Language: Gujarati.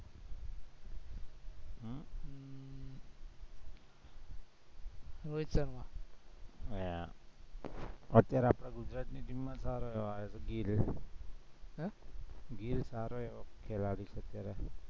હા અત્યારે આપણી ગુજરાતની team માં સારો એવો ગિલ, ગિલ સારો એવો ખેલાડી છે